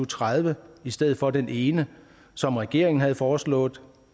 tredive i stedet for den ene som regeringen havde foreslået